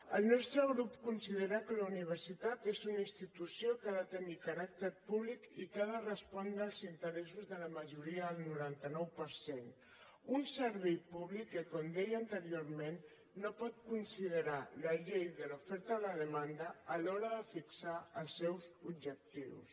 el nostre grup considera que la universitat és una institució que ha de tenir caràcter públic i que ha de respondre als interessos de la majoria el noranta nou per cent un servei públic que com deia anteriorment no pot considerar la llei de l’oferta i la demanda a l’hora de fixar els seus objectius